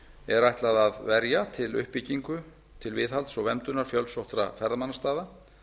er ætlað að verja til uppbyggingar til viðhalds og verndunar fjölsóttra ferðamannastaða